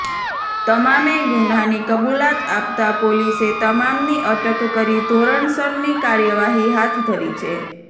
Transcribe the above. તમામે ગુન્હાની કબૂલત આપતાં પોલીસે તમામની અટક કરી ધોરણસરની કાર્યવાહી હાથ ધરી છે